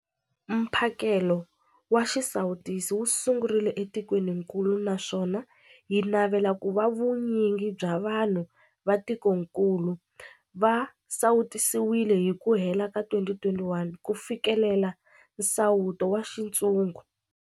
Mphakelo wa xisawutisi wu sungurile etikwenikulu naswona hi navela ku va vu nyingi bya vanhu va tikokulu va sawutisiwile hi ku hela ka 2021 ku fikelela nsawuto wa xintshungu.